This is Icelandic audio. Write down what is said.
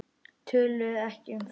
Töluðu ekki um það.